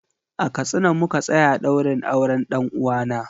A Katsina muka tsaya ɗaurin auren ɗan uwana.